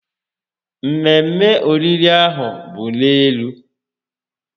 Mmemme oriri ahụ bụ n'elu